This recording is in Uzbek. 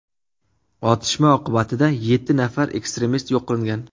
Otishma oqibatida yetti nafar ekstremist yo‘q qilingan.